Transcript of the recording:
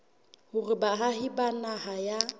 hore baahi ba naha ya